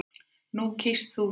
Nú kýst þú að.